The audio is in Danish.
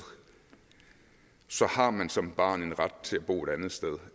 så har man som barn en ret til at bo et andet sted